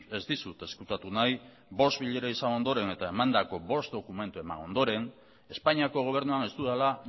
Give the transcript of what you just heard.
ez dizut ezkutatu nahi bost bilera izan ondoren eta emandako bost dokumentu eman ondoren espainiako gobernuan ez dudala